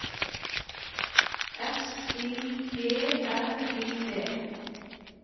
S I G R I D